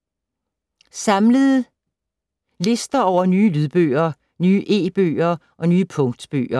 Samlet lister over nye lydbøger, nye e-bøger og nye punktbøger